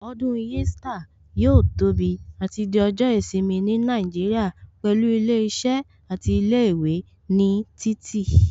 Ọdún Easter yóò tóbi àti di ọjọ́ ìsinmi ní Nàìjíríà pẹ̀lú ilé iṣẹ́ àti ilé ìwé ní títì